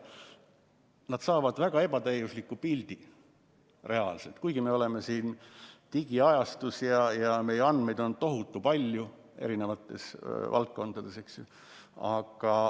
Nad saavad reaalselt väga ebatäiusliku pildi, kuigi me oleme digiajastus ja meil on tohutu palju andmeid eri valdkondades.